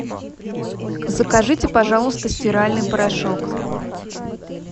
закажите пожалуйста стиральный порошок